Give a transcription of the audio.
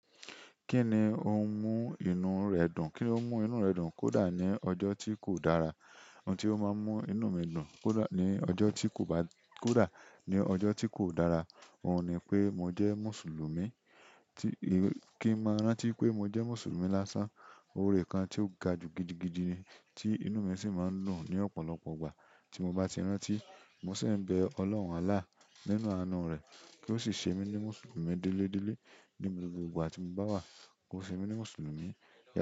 Kíni ó ń mú inú rẹ̀ dùn? Kíni ó ń mú inú rẹ̀ dùn kódà ní ọjọ́ tí kò dára? Ohun tí ó máa ń mú inú mi dùn kódà ní ọjọ́ tí kò bá, kódà ní ọjọ́ tí kò dára, òun ni pé mo jẹ́ Mùsùlùmí. Kí n máa rántí pé mo jẹ́ Mùsùlùmí lásán. Oore kan tí ó ga ju gidigidi ni, tí inú mi sì máa ń dùn ní ọ̀pọ̀lọpọ̀ ìgbà. Tí mo bá ti rántí, mo se ń bẹ Ọlọ́run Àlá nínú àánú rẹ̀ kí ó sì ṣe mí ní Mùsùlùmí díledíle ní gbogbo ìgbà tí mo bá wà, kó ṣe mí ní Mùsùlùmí.